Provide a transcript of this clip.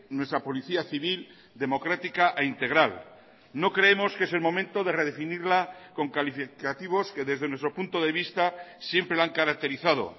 nuestra policía civil democrática e integral no creemos que es el momento de redefinirla con calificativos que desde nuestro punto de vista siempre la han caracterizado